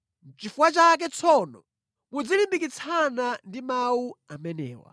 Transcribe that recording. Nʼchifukwa chake tsono muzilimbikitsana ndi mawu amenewa.